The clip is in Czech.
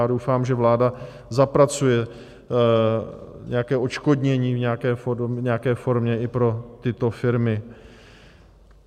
Já doufám, že vláda zapracuje nějaké odškodnění v nějaké formě i pro tyto firmy.